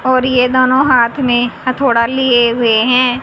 और ये दोनों हाथ में हथोड़ा लिए हुए हैं।